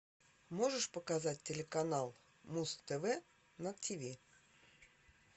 можешь показать телеканал муз тв на тв